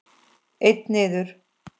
Einn niður.